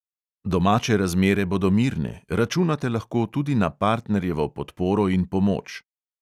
Domače razmere bodo mirne, računate lahko tudi na partnerjevo podporo in pomoč.